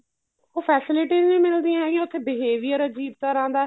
ਉਹ facilities ਵੀ ਮਿਲਦੀਆ ਹੈਗੀਆ ਉੱਥੇ behavior ਅਜੀਬ ਤਰ੍ਹਾਂ ਦਾ